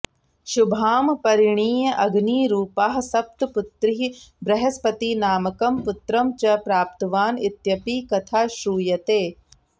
शुभां परिणीय अग्निरूपाः सप्त पुत्रीः बृहस्पतिनामकं पुत्रं च प्राप्तवान् इत्यपि कथा श्रूयते